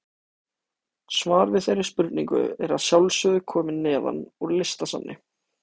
Svar við þeirri spurningu er að sjálfsögðu komið neðan úr Listasafni.